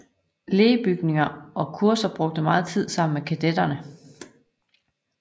Lee bygninger og kurser og brugte meget tid sammen med kadetterne